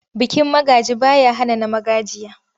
Bikin magaji ba ya hana na magajiya.